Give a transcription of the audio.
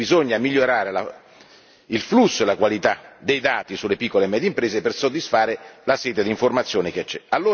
Quindi bisogna migliorare il flusso e la qualità dei dati sulle piccole e medie imprese per soddisfare la sete d'informazione che c'è.